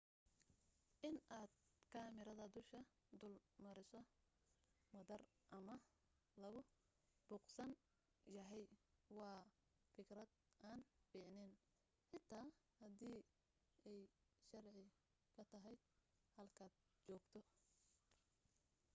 inaad kamarada duusha dul mariso madaar ama lagu buuqsan yahay waa fikrad aan fiicnayn xitaa hadii ay sharci ka tahay halkaad joogto